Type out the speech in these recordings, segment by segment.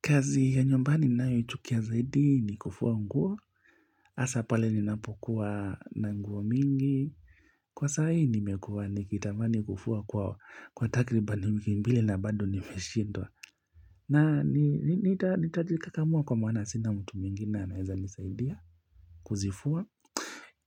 Kazi ya nyumbani ninayochukia zaidi ni kufua nguo, hasa pale ninapokuwa na nguo mingi. Kwa sahii nimekuwa nikitamani kufua kwa takriba ni wiki mbili na bado nimeshidwa. Na nitajikakamua kwa maana sina mtu mwingi anaeza nisaidia kuzifua.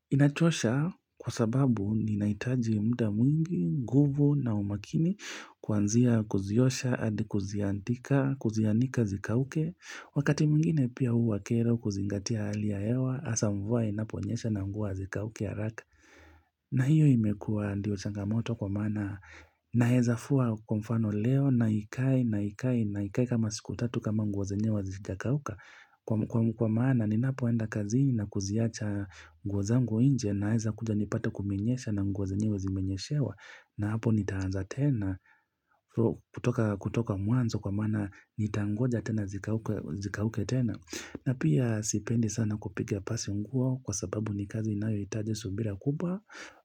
Inachosha kwa sababu ninahitaji muda mwingi, nguvu na umakini kuanzia kuziosha, hadi kuziandika, kuzianika zikauke. Wakati mwingine pia huwa kero kuzingatia hali ya hewa hasa mvua inaponyesha na nguo hazikauki haraka na hiyo imekuwa ndio changamoto kwa maana naeza fua kwa mfano leo na ikae na ikae na ikae kama siku tatu kama nguo zenyewe hazijakauka Kwa maana ninapoenda kazini na kuziacha nguo zangu nje naeza kuja nipate kumenyesha na nguo zenyewe zimenyeshewa na hapo nitaanza tena, kutoka mwanzo kwa maana nitangoja tena zikauke tena. Na pia sipendi sana kupiga pasi nguo kwa sababu ni kazi inayohitaje subira kubwa.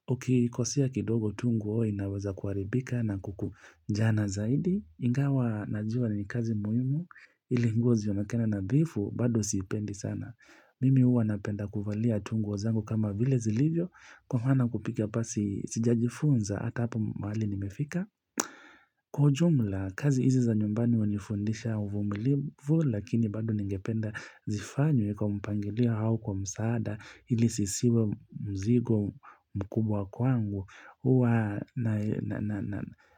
Ukikosea kidogo tu nguo inaweza kuharibika na kukunjana zaidi. Ingawa najua ni kazi muhimu, ili nguo zionekane nadhifu, bado sipendi sana. Mimi huwa napenda kuvalia tu nguo zangu kama vile zilivyo Kwa maana kupiga pasi sijajifunza hata hapa mahali nimefika Kwa jumla, kazi hizi za nyumbani hunifundisha uvumilivu Lakini bado ningependa zifanywe kwa mpangilia au kwa msaada ili siziwe mzigo mkubwa kwangu huwa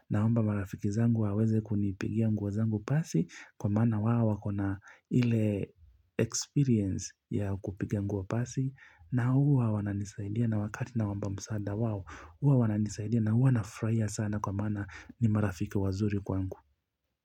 naomba marafiki zangu waweze kunipigia nguo zangu pasi Kwa maana wao wako na ile experience ya kupiga nguo pasi na huwa wananisaidia na wakati nawaomba msaada wao huwa wananisaidia na huwa nafurahia sana kwa maana ni marafiki wazuri kwangu.